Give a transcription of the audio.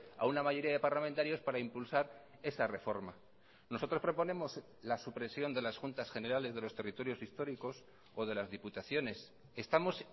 a una mayoría de parlamentarios para impulsar esa reforma nosotros proponemos la supresión de las juntas generales de los territorios históricos o de las diputaciones estamos